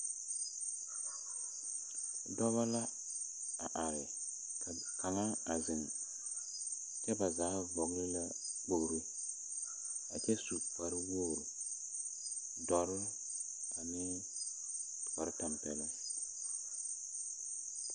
Dɔɔba la a are ka kaŋa zeŋ, kyɛ ba zaa vɔgle a kpoŋlo a kyɛ su kpare wogri ,dɔre ane kpare tanpeloŋ